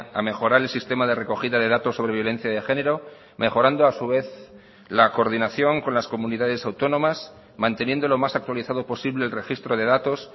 a mejorar el sistema de recogida de datos sobre violencia de género mejorando a su vez la coordinación con las comunidades autónomas manteniendo lo más actualizado posible el registro de datos